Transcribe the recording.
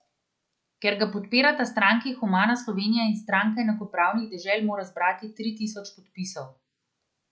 Ker ga podpirata stranki Humana Slovenija in Stranka enakopravnih dežel, mora zbrati tri tisoč podpisov.